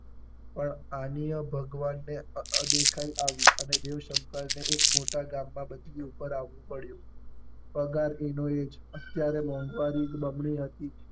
પણ આની અ ભગવાન ને અદેખાઈ આવી અને દેવશંકર ને એક મોટા ગામ માં બદલી ઉપર આવવું પડ્યું. પગાર એ નો એ જ અત્યારે મોંઘવારી બમણી હતી જ.